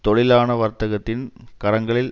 தொழிலான வர்த்தகத்தின் கரங்களில்